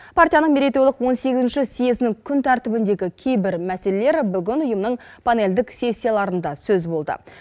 партияның мерейтойлық он сегізінші съезінің күн тәртібіндегі кейбір мәселелер бүгін ұйымның панельдік сессияларында сөз болды